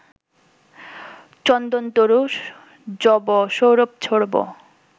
চন্দনতরু যব সৌরভ ছোড়ব